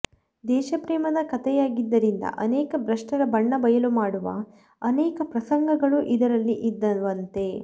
ದೇಶಪ್ರೇಮದ ಕತೆಯಾಗಿದ್ದರಿಂದ ಅನೇಕ ಭ್ರಷ್ಟರ ಬಣ್ಣ ಬಯಲು ಮಾಡುವ ಅನೇಕ ಪ್ರಸಂಗಗಳು ಇದರಲ್ಲಿ ಇದ್ದವಂತೆ